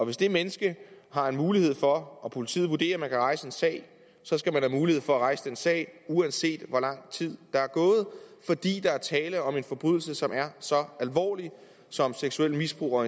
hvis det menneske har en mulighed for og politiet vurderer at man kan rejse en sag så skal være mulighed for at kunne rejse den sag uanset hvor lang tid der er gået fordi der er tale om en forbrydelse som er så alvorlig som seksuelt misbrug